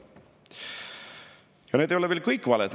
Ja need ei ole veel kõik valed.